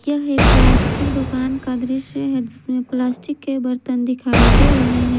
यह एक प्लास्टिक दुकान का दृश्य है जिसमें प्लास्टिक के बर्तन दिखाई दे रहे हैं।